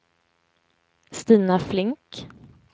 Stina Flink